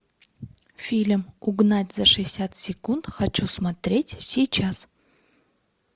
фильм угнать за шестьдесят секунд хочу смотреть сейчас